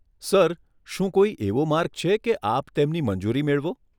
Sir, શું કોઈ એવો માર્ગ છે, કે આપ તેમની મંજૂરી મેળવો?